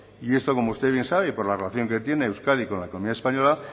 y esto como usted bien sabe y por la relación que tiene euskadi con la economía española